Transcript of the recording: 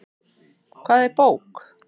Hvað er bók?